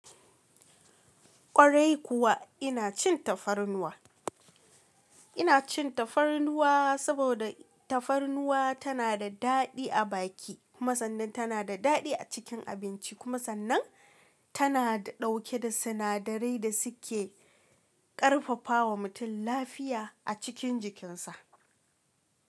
Kwarai kuwa ina cin tafarnuwa, ina cin tafarnuwa saboda tafarnuwa tana da daɗi a baki kuma sannan tana da daɗi a cikin abinci kuma sannan tana ɗauke da sinadarai da suke ƙarfafawa mutum lafiya a cikin jikinsa.